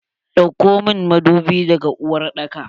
Dauko mun madubi daga uwar daka!